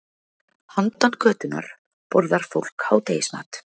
Handan götunnar borðar fólk hádegismat.